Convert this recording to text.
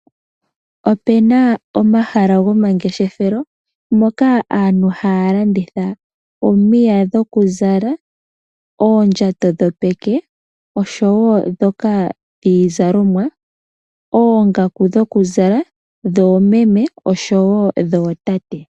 Opena omahala gomangeshefelo moka aantu hayalanditha omiya dhokuzala, oondjato dhopeke oshowo dhoka dhiizalomwa, oongaku dhokuzala dhoomeme oshowo dhootate.